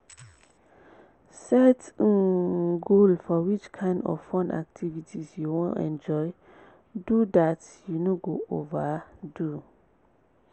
set um goal for which kind of fun activity you want enjoy do dat you no go over do